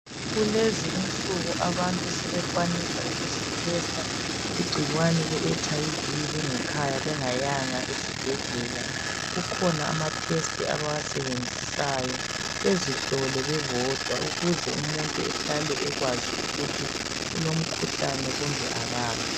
Kulezi insuku abantu sebekwanisa ukuzitesta igcikwane leHIV bengekhaya bengayanga esibhedlela. Kukhona amatest abawasebenzisayo bezihlole bebodwa, ukuze umuntu ehlale ekwazi ukuthi ulomkhuhlane kumbe akala.